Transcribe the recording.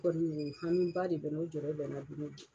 i hami ba de bɛn na o jɔyɔrɔ bɛ bi na don o don